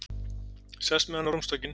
Sest með hann á rúmstokkinn.